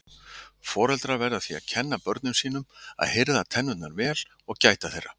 Foreldrar verða því að kenna börnum sínum að hirða tennurnar vel og gæta þeirra.